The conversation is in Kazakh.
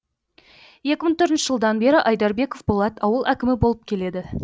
екі мың төртінші жылдан бері айдарбеков болат ауыл әкімі болып келеді